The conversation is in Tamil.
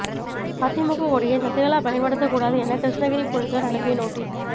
அதிமுக கொடியை சசிகலா பயன்படுத்த கூடாது என கிருஷ்ணகிரி போலீசார் அனுப்பிய நோட்டீஸ்